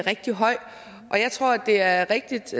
rigtig høj og jeg tror at det er rigtigt